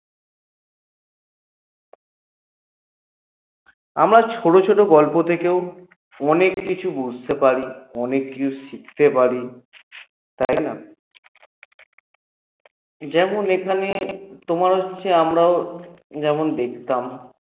আমরা ছোট ছোট গল্প থেকেও অনেককিছু বুঝতে পারি অনেককিছু শিখতে পারি তাই না? যেমন এখানে তোমার হচ্ছে আমরাও যেমন দেখতাম